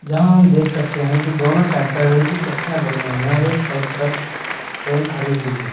यहां हम देख सकते हैं कि दोनों साइड पर रेल की पटरियां बनी हुई हैं और एक साइड पर ट्रेन खड़ी हुई है।